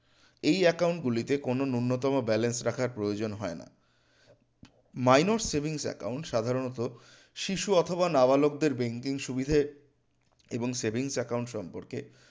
এই account গুলিতে কোনো ন্যূনতম balance রাখার প্রয়োজন হয় না minors savings account সাধারণত শিশু অথবা নাবালকদের banking সুবিধে এবং savings account সম্পর্কে